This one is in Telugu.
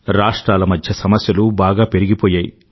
రాష్ట్రాల మధ్య సమస్యలు బాగా పెరిగిపోయాయి